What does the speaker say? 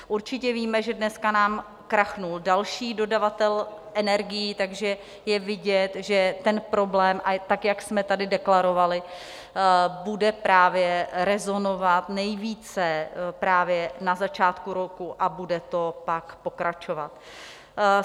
Určitě víme, že dneska nám krachnul další dodavatel energií, takže je vidět, že ten problém, tak, jak jsme tady deklarovali, bude právě rezonovat nejvíce právě na začátku roku a bude to pak pokračovat.